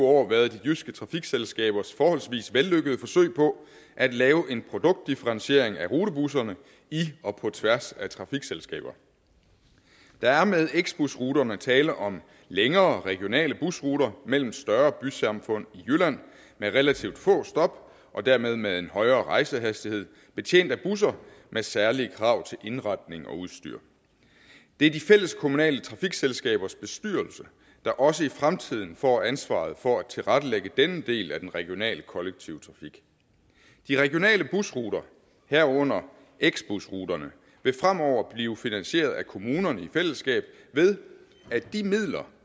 år været de jyske trafikselskabers forholdsvis vellykkede forsøg på at lave en produktdifferentiering af rutebusserne i og på tværs af trafikselskaber der er med x busruterne tale om længere regionale busruter mellem større bysamfund i jylland med relativt få stop og dermed med en højere rejsehastighed betjent af busser med særlige krav til indretning og udstyr det er de fælleskommunale trafikselskabers bestyrelse der også i fremtiden får ansvaret for at tilrettelægge denne del af den regionale kollektive trafik de regionale busruter herunder x busruterne vil fremover blive finansieret af kommunerne i fællesskab ved at de midler